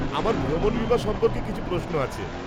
আমার ভ্রমণ বীমা সম্পর্কে কিছু প্রশ্ন আছে।